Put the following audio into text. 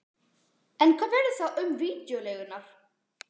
En hvað verður þá um vídeóleigurnar?